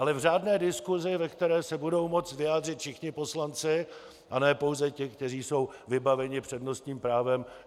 Ale v řádné diskusi, ve které se budou moct vyjádřit všichni poslanci, a ne pouze ti, kteří jsou vybaveni přednostním právem.